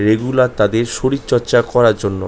Regular তাদের শরীর চর্চা করার জন্য।